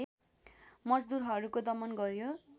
मजदुरहरूको दमन गर्‍यो